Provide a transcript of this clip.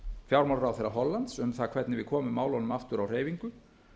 fjármálaráðherra hollands um það hvernig við komum málunum aftur á hreyfingu